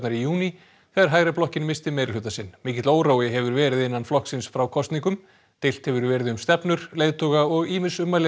í júní þegar missti meirihluta sinn mikill órói hefur verið innan flokksins frá kosningum deilt hefur verið um stefnur leiðtoga og ýmis ummæli